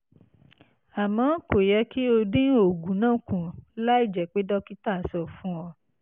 àmọ́ kò yẹ kí o dín oògùn náà kù láìjẹ́ pé dókítà sọ fún ọ